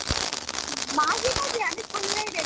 মাঝে মাঝে আমি খুললেই দেখবো।